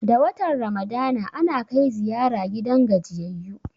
Da watan ramadana, ana kai ziyara gidan gajiyayyu